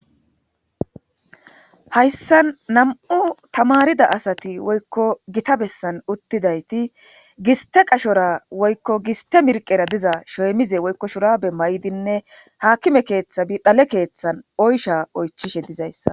Hayssa nam7u tamarida asati woykko gita bessan uttidayti giste qashora woykko giste mirqera diza sheemize woykko shurabe may7dinne haakime keeththa bi dhale keeththan oysha oychishe dizayssa.